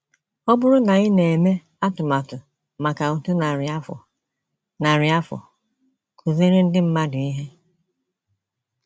Ọ bụrụ na ị na - eme atụmatụ maka otu narị afọ, narị afọ, kụziere ndị mmadụ ihe ”